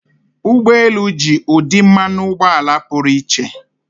Ụgbọ elu ji ụdị mmanụ ụgbọala pụrụ iche.